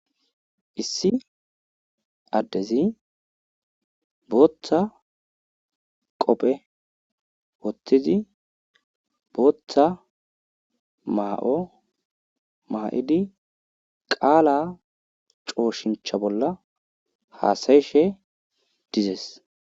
Issi addezi bootha qophe wothizi bootha maa7o maa7idi qaalaa cooshincha bolla haasayishe dizes.